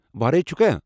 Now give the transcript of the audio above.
وارٮٔے چھٗکھا؟